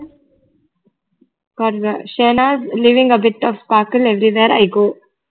Shane is living a bit of sparkle everywhere i go